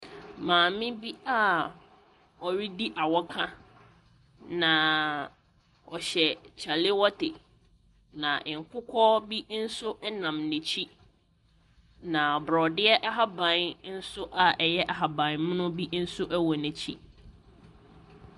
Maame bi ɔredi awɔka. Na ɔhyɛ kyalewɔte. Na nkokɔ bi nso nam n'akyi. Na borɔdeɛ ahaban nso a ɛyɛ ahabanmono nso wɔ n'akyi.